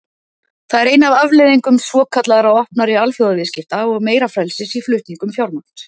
Það er ein af afleiðingum svokallaðra opnari alþjóðaviðskipta og meira frelsis í flutningum fjármagns.